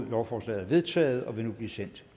lovforslaget er vedtaget og vil nu blive sendt